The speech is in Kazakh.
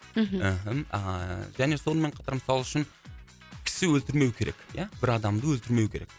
мхм а және сонымен қатар мысалы үшін кісі өлтірмеу керек ия бір адамды өлтірмеу керек